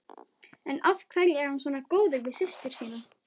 En af hverju er hann svona góður við systur sína?